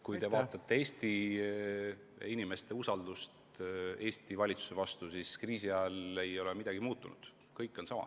Kui vaatate Eesti inimeste usaldust Eesti valitsuse vastu, siis kriisiajal ei ole midagi muutunud, kõik on sama.